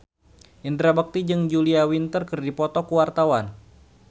Indra Bekti jeung Julia Winter keur dipoto ku wartawan